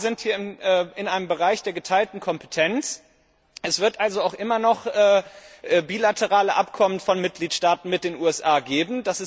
Es ist klar, wir sind hier in einem Bereich der geteilten Kompetenz, es wird also auch immer noch bilaterale Abkommen von Mitgliedstaaten mit den USA geben.